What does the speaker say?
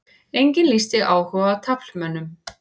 Enginn lýsti áhuga á taflmönnum